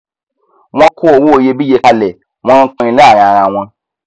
wọn kó owó iyebíye kalẹ wọn npínin láàrin arawọn